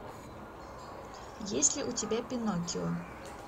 есть ли у тебя пиноккио